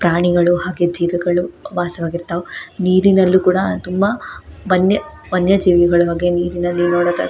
ಪ್ರಾಣಿಗಳು ಹಾಗೆ ಜೀವಿಗಳು ವಾಸವಾಗಿರತ್ವ್ ನೀರಿನಲ್ಲಿ ಕೂಡ ತುಂಬಾ ಬಂದೆ ವನ್ಯಜೀವಿಗಳ ಬಗ್ಗೆ ನೀರಿನಲ್ಲಿ ನೋಡೋದಾದ್ರೆ.